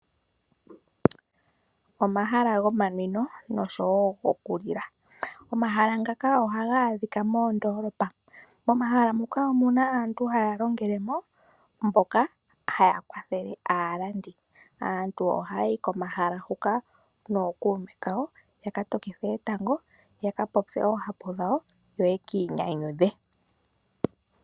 Omahala gomanwino nosho wo goku lila, omahala ngaka ohaga adhika moondoolopa. Mo mahala muka omuna aantu haya longelemo mboka haya kwathele aalandi. Aantu ohaya yi komahala huka nookuume kawo ya ka tokithe etango, ya ka popye oohapu dhawo yo ye kiinyanyudhe.